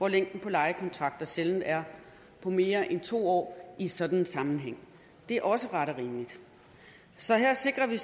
at længden på lejekontrakter sjældent er mere end to år i sådan en sammenhæng det er også ret og rimeligt så her sikrer vi